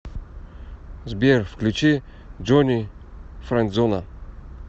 сбер включи джони френдзона